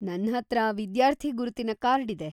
ನನ್ಹತ್ರ ವಿದ್ಯಾರ್ಥಿ ಗುರುತಿನ ಕಾರ್ಡ್ ಇದೆ.